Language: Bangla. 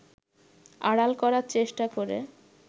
আড়াল করার চেষ্টা করে